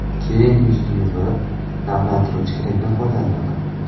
Keyin yuzni yuvib, namlantiruvchi kremdan foydalanaman.